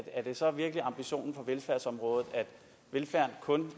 er det så virkelig ambitionen på velfærdsområdet at velfærden kun